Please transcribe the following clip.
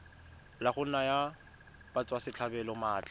la go naya batswasetlhabelo maatla